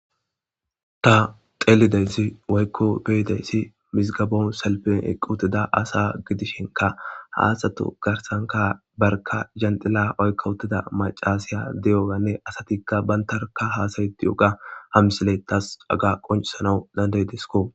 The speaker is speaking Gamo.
Ta teelidayssi woykko beyidayssi misigabon salpen eqqu utida asa gidishenka haaxato garsanka barka jandila oykka wuttida macaasiya de'oganne asatikka bantarka haasayeti yoga hamsiley tas aga qoncisana dande disko.